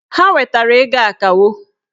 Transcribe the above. Ha wetara ego akawo